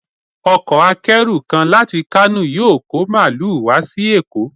Ọkọ̀ akẹ́rù kan láti Kano yóò kọ́ Màálù wá sí Èkó.